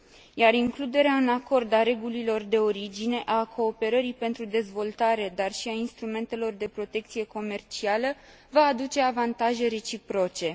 Iar includerea în acord a regulilor de origine, a cooperării pentru dezvoltare, dar și a instrumentelor de protecție comercială va aduce avantaje reciproce.